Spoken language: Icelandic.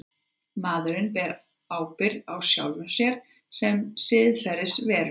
Maðurinn ber ábyrgð á sjálfum sér sem siðferðisveru.